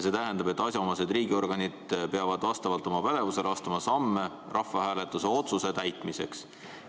See tähendab, et asjaomased riigiorganid peavad vastavalt oma pädevusele astuma samme rahvahääletuse otsuse täitmiseks.